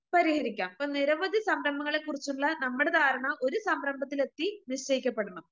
പരിഹരിക്കാം.ഇപ്പ നിരവധി സംരംഭങ്ങളെക്കുറിച്ചുള്ള നമ്മടെ ധാരണ ഒരു സംരംഭത്തിലെത്തി നിശ്ചയിക്കപ്പെടണം.